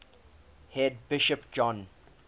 head bishop john